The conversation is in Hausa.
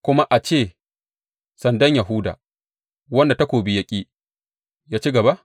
Kuma a ce sandan Yahuda, wanda takobi ya ƙi, ya ci gaba?